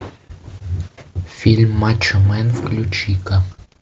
фильм мачо мэн включи ка